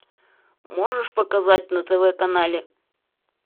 можешь показать на тв канале